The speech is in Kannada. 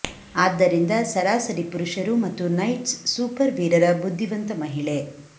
ಆದ್ದರಿಂದ ಸರಾಸರಿ ಪುರುಷರು ಮತ್ತು ನೈಟ್ಸ್ ಸೂಪರ್ ವೀರರ ಬುದ್ಧಿವಂತ ಮಹಿಳೆ